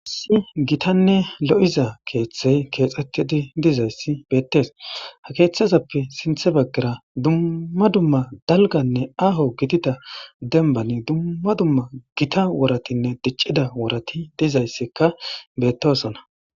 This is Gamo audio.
Issi gitanne lo7iza keeththey keexxettidi dizayssi beettees. Ha keeththazappe sinthe baggara dumma dumma dalgganne aaho gidida dembbani dumma dumma gita woratinne diccida worati dizayssikka bettoosona.